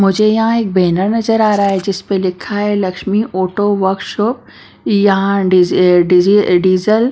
मुझे यहां एक बैनर नजर आ रहा है जिस पर लिखा है लक्ष्मी ऑटो वर्कशॉप यहां डीजल --